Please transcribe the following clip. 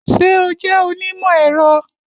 Ṣé o jẹ́ onímọ̀-ẹ̀rọ?